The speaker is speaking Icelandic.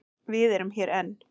Við erum hér enn.